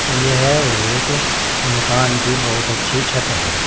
यह एक मकान की बहोत अच्छी छत है।